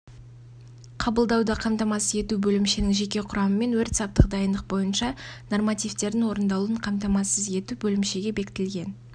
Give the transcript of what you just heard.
қабылдауды қамтамасыз ету бөлімшенің жеке құрамымен өрт-саптық дайындық бойынша нормативтердің орындалуын қамтамасыз ету бөлімшеге бекітілген